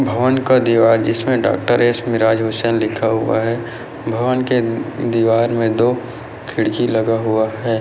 भगवान का दिवार जिसमें डॉ.एस मिराज हुसैन लिखा हुआ है भवन के दीवार में दो खिड़की लगा हुआ है।